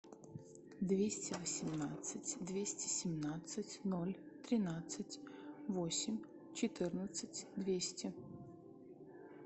двести восемнадцать двести семнадцать ноль тринадцать восемь четырнадцать двести